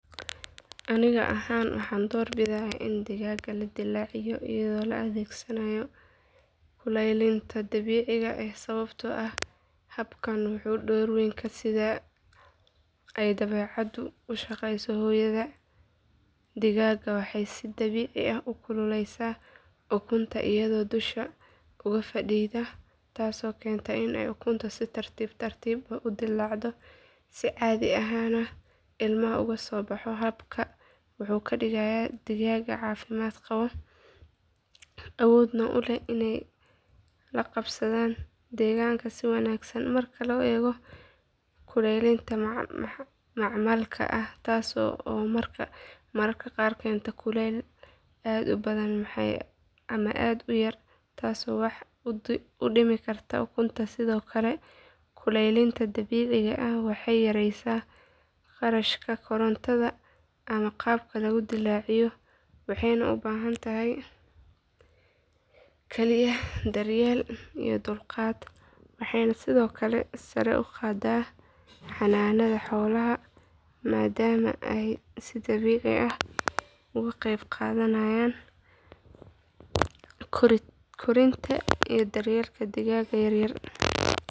Aniga ahaan waxaan doorbidayaa in digaagga la dillaaciyo iyadoo la adeegsanayo kulaylinta dabiiciga ah sababtoo ah habkan wuxuu u dhow yahay sida ay dabeecaddu u shaqeyso hooyada digaagga waxay si dabiici ah u kululeysaa ukunta iyadoo dusha uga fadhida taasoo keenta in ukuntu si tartiib tartiib ah u dillaacdo si caadi ahna ilmaha uga soo baxo habkan wuxuu ka dhigaa digaagga caafimaad qaba awoodna u leh inay la qabsadaan deegaanka si wanaagsan marka loo eego kulaylinta macmalka ah taas oo mararka qaar keenta kulayl aad u badan ama aad u yar taasoo wax u dhimi karta ukunta sidoo kale kulaylinta dabiiciga ah waxay yaraysaa kharashka korontada ama qalabka lagu dillaacinayo waxayna u baahan tahay kaliya daryeel iyo dulqaad waxayna sidoo kale sare u qaadaa xanaanada xoolaha maadaama ay si dabiici ah uga qayb qaadanayaan korinta iyo daryeelka digaagga yaryar.